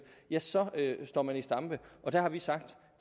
ja så står man i stampe og der har vi sagt